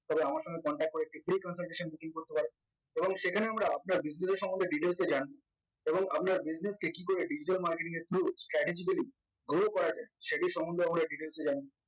তবে আমার সঙ্গে contact করে শীঘ্রই consultation booking করতে পারো এবং সেখানে আমরা আপনার business এর সমন্ধে details এ জানি এবং আমরা business কে কি করে digital marketing এর through strategically grow করা যায় সেটির সমন্ধে আমরা details এ জানি